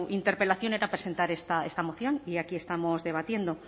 interpelación era presentar esta moción y aquí estamos debatiendo